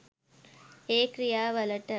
ඒ ක්‍රියා වලට